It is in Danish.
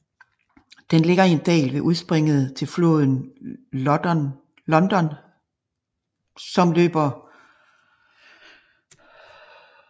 Den ligger i en dal ved udspringet til floden Loddon som siden løber sammen med Themsen